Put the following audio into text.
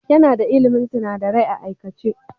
Yana da ilmin sunadarai a aikace.